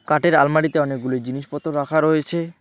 কাটের আলমারিতে অনেকগুলি জিনিসপত্র রাখা রয়েছে।